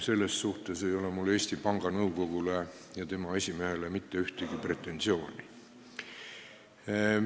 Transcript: Selles suhtes ei ole mul Eesti Panga Nõukogule ega tema esimehele mitte ühtegi pretensiooni.